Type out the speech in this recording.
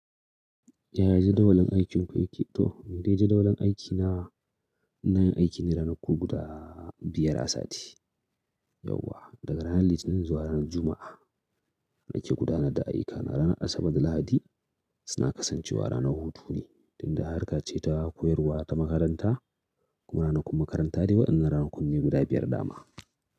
Yaya jadawalin aikinku yake? To, ni dai jadawalin aiki na, ina yin aiki ne ranaku guda biyar a sati. Yauwa daga ranar Litinin zuwa ranar Juma'a nake gudanar da ayyukana. Ranar Asabar da Lahadi suna kasancewa ranar hutu ne, tunda har ka ce ta koyarwa ta makaranta kuma ranakun makaranta ne waɗannan. Ranakun ne guda biyar dama.